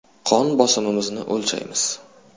Qon bosimimizni o‘lchaymiz.